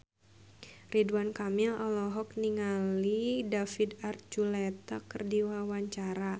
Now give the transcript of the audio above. Ridwan Kamil olohok ningali David Archuletta keur diwawancara